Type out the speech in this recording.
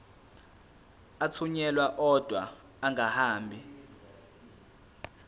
athunyelwa odwa angahambi